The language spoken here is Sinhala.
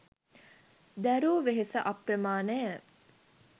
දැරූ වෙහෙස අප්‍රමාණය